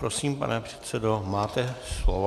Prosím, pane předsedo, máte slovo.